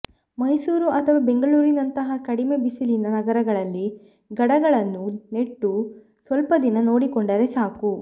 ಮೈಸೂರು ಅಥವಾ ಬೆಂಗಳೂರಿನಂತಹ ಕಡಿಮೆ ಬಿಸಿಲಿನ ನಗರಗಳಲ್ಲಿ ಗಡಗಳನ್ನು ನೆಟ್ಟು ಸ್ವಲ್ಪ ದಿನ ನೋಡಿಕೊಂಡರೆ ಸಾಕು